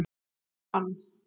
Þín Ann.